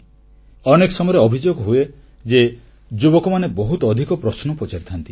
ଅନେକ ସମୟରେ ଅଭିଯୋଗ ହୁଏ ଯେ ଯୁବକମାନେ ବହୁତ ଅଧିକ ପ୍ରଶ୍ନ ପଚାରିଥାନ୍ତି